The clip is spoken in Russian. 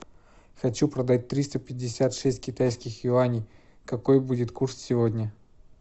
хочу продать триста пятьдесят шесть китайских юаней какой будет курс сегодня